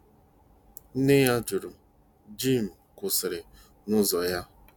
Nne ya jụrụ .Jim kwụsịrị n'ụzọ ya.